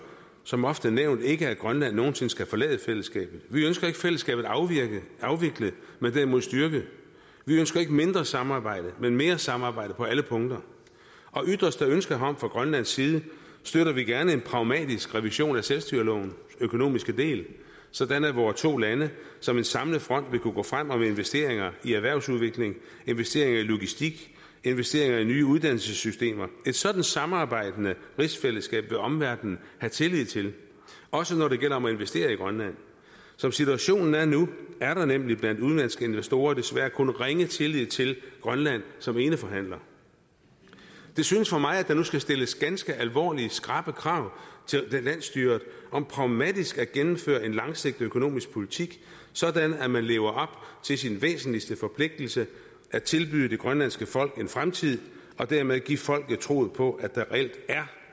som ofte nævnt ikke at grønland nogensinde skal forlade fællesskabet vi ønsker ikke fællesskabet afviklet men derimod styrket vi ønsker ikke mindre samarbejde men mere samarbejde på alle punkter og ytres der ønske herom fra grønlands side støtter vi gerne en pragmatisk revision af selvstyrelovens økonomiske del sådan at vore to lande som en samlet front vil kunne gå frem og lave investeringer i erhvervsudvikling investeringer i logistik investeringer i nye uddannelsessystemer et sådant samarbejdende rigsfællesskab vil omverdenen have tillid til også når det gælder om at investere i grønland som situationen er nu er der nemlig blandt udenlandske investorer desværre kun ringe tillid til grønland som eneforhandler det synes for mig at der nu skal stilles ganske alvorlige skrappe krav til landsstyret om pragmatisk at gennemføre en langsigtet økonomisk politik sådan at man lever op til sin væsentligste forpligtelse at tilbyde det grønlandske folk en fremtid og dermed give folk troen på at der reelt er